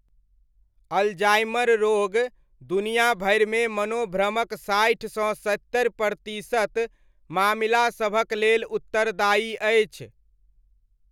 Alzheimer रोग दुनिया भरिमे मनोभ्रमक साठि सँ सत्तरि प्रतिशत मामिलासभक लेल उत्तरदायी अछि।